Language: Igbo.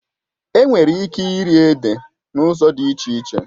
Enwere ike iri ede n'ụzọ dị iche iche